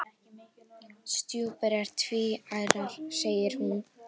Stjúpur eru tvíærar segir hún.